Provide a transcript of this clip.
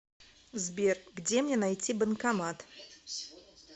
сбер где мне найти банкомат